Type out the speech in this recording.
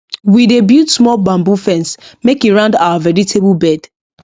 we dey build small bamboo fence make e round our vegetable bed